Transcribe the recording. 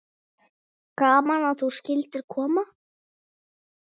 Gaman að þú skyldir koma.